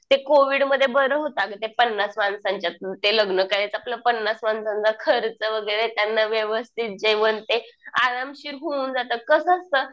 ते कोविडमध्ये बर होतं अगं. ते पन्नास माणसांच्यात ते लग्न करायचं. आपलं पन्नास माणसांचा खर्च वगैरे. त्यांना व्यवस्थित जेवण ते. आरामशीर होऊन जातं. कसं असतं